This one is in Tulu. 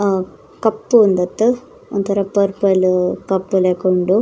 ಅ ಕಪ್ಪು ಉಂಡತೆ ಒಂತರ ಪರ್ಪಲ್ ಕಪ್ಪು ಲೆಕ ಉಂಡು.